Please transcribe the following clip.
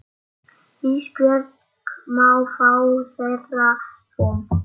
Ísbjörg má fá þeirra rúm.